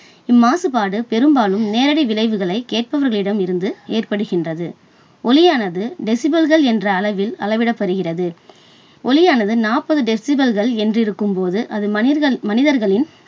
இம்மாசுபாடு பெரும்பாலும் நேரடி விளைவுகளை கேட்பவரிடமிருந்து ஏற்படுகின்றது. ஒலியானது டெசிபல்கள் என்ற அளவில் அளவிடப்படுகிறது. ஒலியானது நாற்பது டெசிபல் என்று இருக்கும் போது, அது மனிதர்~மனிதர்களின்